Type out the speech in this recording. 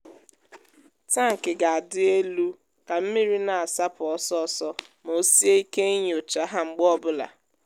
tankị ga-adị elu ka mmiri na-asapụ ọsọ ọsọ ma o sie ike inyocha ha mgbe ọ bụla.